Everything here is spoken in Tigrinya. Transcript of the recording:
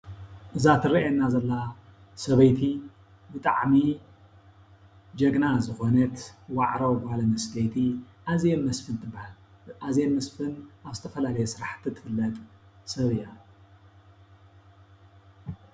እዛ ትርአየና ዘላ ሰበይቲ ብጣዕሚ ጀግና ዝኾነት ዋዕሮ ጋል ኣንስተይቲ ኣዜብ መስፍን ትበሃል። ኣዜብ መስፈን ኣብ ዝተፈላለዩ ስራሕቲ ትፍለጥ ሰብ እያ።